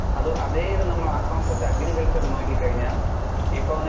അഹ് അതെ ഇത് ആ concept നമ്മൾ agriculture നോക്കി കഴിഞ്ഞാൽ. ഇപ്പൊ വന്നിട്ട്